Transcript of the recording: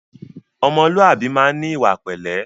Ọmọlúwàbí máa ń ní ìwà pẹ̀lẹ́